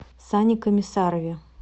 сане комиссарове